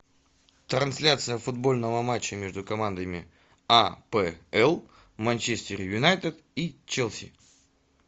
трансляция футбольного матча между командами апл манчестер юнайтед и челси